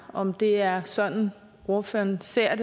om det er sådan ordføreren ser